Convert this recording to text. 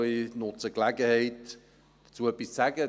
Ich nutze die Gelegenheit, dazu etwas zu sagen.